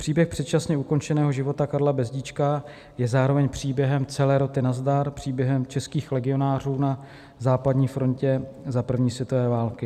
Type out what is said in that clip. Příběh předčasně ukončeného života Karla Bezdíčka je zároveň příběhem celé roty Nazdar, příběhem českých legionářů na západní frontě za první světové války.